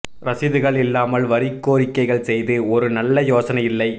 ரசீதுகள் இல்லாமல் வரி கோரிக்கைகள் செய்து ஒரு நல்ல யோசனை இல்லை